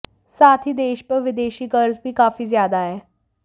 साथ ही देश पर विदेशी कर्ज भी काफी ज्यादा है